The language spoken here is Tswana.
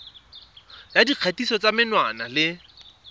ya dikgatiso tsa menwana le